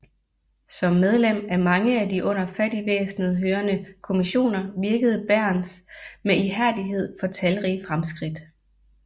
Som medlem af mange af de under Fattigvæsenet hørende kommissioner virkede Bärens med ihærdighed for talrige fremskridt